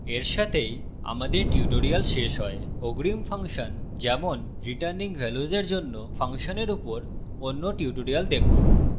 এর সাথেই আমাদের tutorial শেষ হয় অগ্রিম ফাংশন যেমন রিটার্নিং ভ্যাল্যুস এর জন্য ফাংশনের উপর অন্য tutorial দেখুন